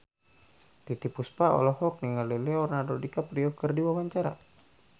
Titiek Puspa olohok ningali Leonardo DiCaprio keur diwawancara